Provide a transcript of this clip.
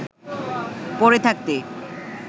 পড়ে থাকতে